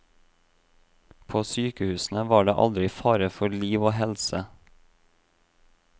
På sykehusene var det aldri fare for liv og helse.